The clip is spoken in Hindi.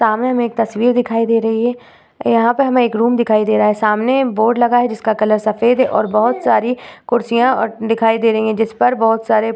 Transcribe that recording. सामने हमें एक तस्वीर दिखाई दे रही है। यहाँ पर हमें एक रूम दिखाई दे रहा है सामने बोर्ड लगा है जिसका कलर सफ़ेद है और बहुत सारी कुर्सियां और दिखाई दे रही हैं जिसपर बहुत सारे --